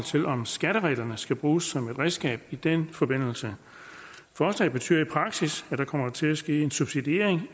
til om skattereglerne skal bruges som et redskab i den forbindelse forslaget betyder i praksis at der kommer til at ske en subsidiering